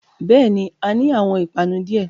Bẹ́ẹ̀ni, A ni awọn ipanu diẹ